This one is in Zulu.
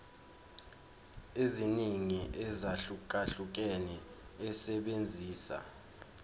eziningi ezahlukahlukene esebenzisa